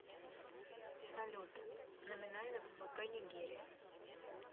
салют номинальный ввп нигерия